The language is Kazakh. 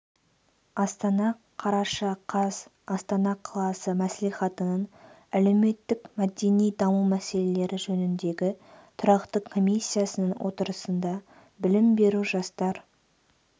астана қараша қаз астана қаласы мәслихатының әлеуметтік-мәдени даму мәселелері жөніндегі тұрақты комиссиясының отырысында білім беру жастар